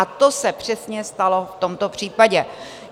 A to se přesně stalo v tomto případě.